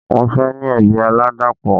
Wọ́n fẹ́ ní ẹbí aládàpọ̀